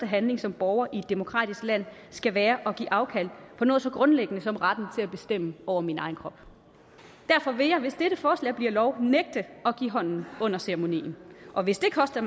handling som borger i et demokratisk land skal være at give afkald på noget så grundlæggende som retten til at bestemme over min egen krop derfor vil jeg hvis dette forslag bliver lov nægte at give hånden under ceremonien og hvis det koster